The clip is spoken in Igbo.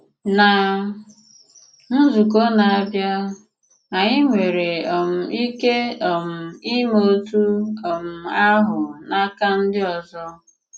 Ná nzukọ́ na-abịá, anyị nwère um ike um ime otú um ahụ́ n’akà ndị ọzọ́.